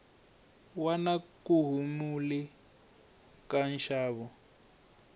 wa na kuhumule ka nxavo